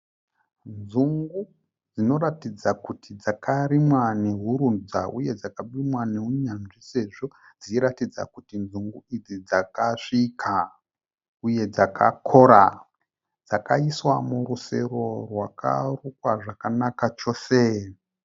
Nzungu dzinoratidza kuti dzakarimwa nehurudza uye dzakarimwa neunyanzvi sezvo dzichiratidza kuti nzungu idzi dzakasvika , uye dzakakora . Dzakaiswa murusero rwakarukwa zvakanaka chose .